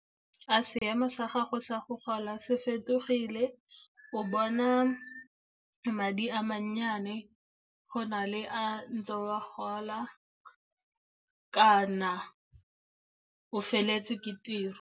A seemo sa gago sa go gola se fetogile? O bona madi a mannyane go na le a ntse o a gola, kana o feletse ke tiro?